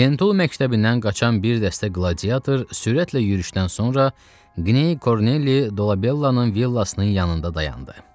Lentulu məktəbindən qaçan bir dəstə qladiator sürətlə yürüşdən sonra Qney Kornelli Dolabellanın villasının yanında dayandı.